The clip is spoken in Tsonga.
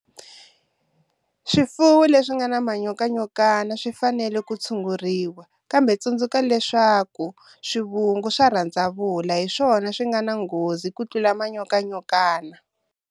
Swifuwo leswi nga na manyokanyokana swi fanele ku tshunguriwa, kambe tsundzuka leswaku swivungu swa rhandzavula hi swona swi nga na nghozi ku tlula manyokanyokana.